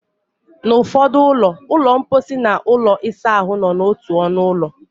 N'ụfọdụ ụlọ, ụlọ mposi na ụlọ ịsa ahụ nọ n'otu ọnụ ụlọ.